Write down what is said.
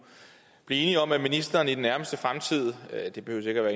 blive enige om at ministeren i den nærmeste fremtid det behøver